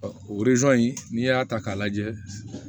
o in n'i y'a ta k'a lajɛ